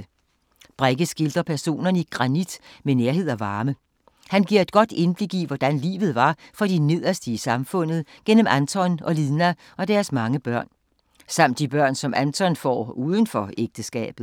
Brekke skildrer personerne i Granit med nærhed og varme. Hun giver et godt indblik i, hvordan livet var for de nederste i samfundet gennem Anton og Lina og deres mange børn. Samt de børn, som Anton får uden for ægteskab.